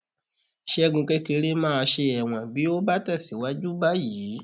Ṣẹ́gun kékeré máa ṣe ẹ̀wọ̀n bí ó bá tẹ̀síwájú báyìí